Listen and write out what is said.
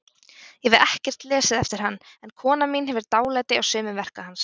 Ég hef ekkert lesið eftir hann, en kona mín hefur dálæti á sumum verka hans.